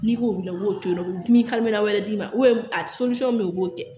N'i ko wuli u b'o to yen nɔ u bɛ dimi wɛrɛ d'i ma a bɛ yen o b'o kɛ